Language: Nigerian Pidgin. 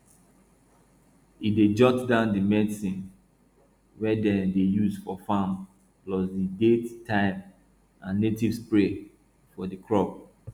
e dey jot down di medicine wey dem dey use for farm plus di date time an native spray for di crop